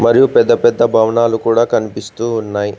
మరియు పెద్ద పెద్ద భవనాలు కూడా కనిపిస్తూ ఉన్నాయి.